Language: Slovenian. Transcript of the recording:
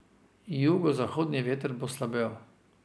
Jugozahodni veter bo slabel.